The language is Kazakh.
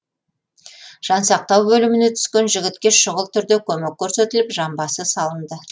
жансақтау бөліміне түскен жігітке шұғыл түрде көмек көрсетіліп жамбасы салынды